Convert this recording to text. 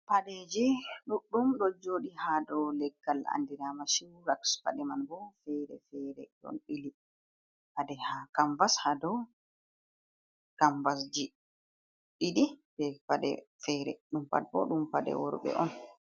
Paɗeje ɗuɗɗum ɗo joɗi hado leggal andirama showrak, paɗe man bo fere fere ɗon ɓili pade ha kambas hado kambasji ɗiɗi be paɗe fere ɗum pat bo paɗe worɓe on.